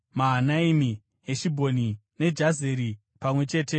Heshibhoni neJazeri pamwe chete namafuro awo.